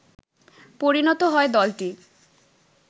পরিনত হয় দলটি